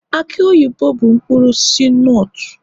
aki oyibo bụ mkpụrụ osisi nutu